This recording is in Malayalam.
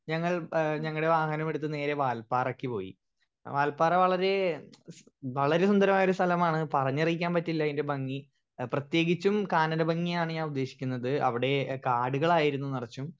സ്പീക്കർ 1 ഞങ്ങൾ ഏഹ് ഞങ്ങടെ വാഹനമെടുത്ത് നേരെ വാല്പാറയ്ക്ക് പോയി വാല്പാറ വളരെ വളരെ സുന്ദരമായൊരു സ്ഥലമാണ് പറഞ്ഞറിക്കാൻ പറ്റില്ല അതിൻ്റെ ഭംഗി പ്രേതേകിച്ചും കാനല്ല ഭംഗിയാണ് ഞാൻ ഉദ്ദേശിക്കുന്നത് അവിടെ കാടുകളായിരുന്നു നറച്ചും